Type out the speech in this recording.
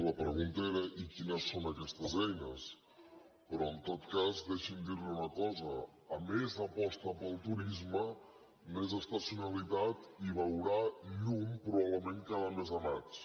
la pregunta era i quines són aquestes eines però en tot cas deixi’m dir li una cosa a més aposta pel turisme més estacionalitat i veurà llum probablement cada mes de maig